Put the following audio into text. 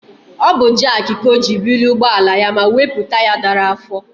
Ọ bụ jak ka o ji bulie ụgbọ ala ya ma wepụ taya dara afọ.